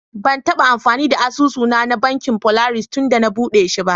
Ban taba amfani da asusu na, na Bankin polaris tunda na buɗe shi.